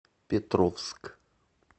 петровск